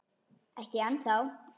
Ekki ennþá.